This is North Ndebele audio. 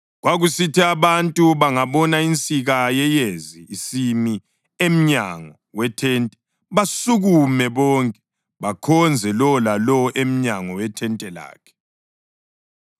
Kwakusithi abantu bangabona insika yeyezi isimi emnyango wethente basukume bonke bakhonze; lowo lalowo emnyango wethente lakhe.